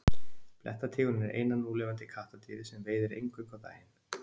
Blettatígurinn er eina núlifandi kattardýrið sem veiðir eingöngu á daginn.